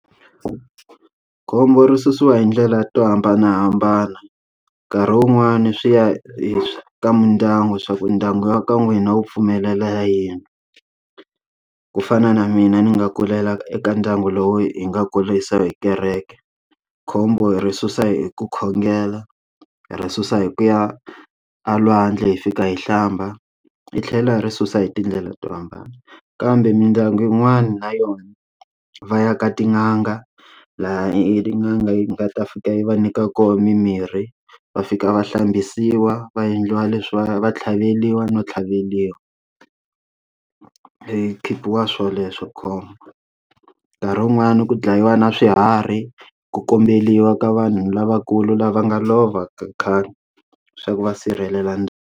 Khombo ri susiwa hi ndlela to hambanahambana nkarhi wun'wani swi ya hi ka mindyangu swa ku ndyangu wa ka n'wina wu pfumelela yini ku fana na mina ni nga kulela eka ndyangu lowu hi nga kurisa hi kereke khombo hi ri susa hi ku khongela hi ri susa hi ku ya a lwandle hi fika hi hlamba hi tlhela hi ri susa hi tindlela to hambana kambe mindyangu yin'wana na yona va ya ka tin'anga laha yi tin'anga yi nga ta fika yi va nyika koho mimirhi va fika va hlambisiwa va endliwa leswi va va tlhaveriwa no tlhaveriwa i khipiwa swoleswo khombo nkarhi wun'wani ku dlayiwa na swiharhi ku komberiwa ka vanhu lavakulu lava nga lova khale swa ku va sirhelela ndhawu.